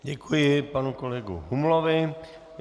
Děkuji panu kolegu Humlovi.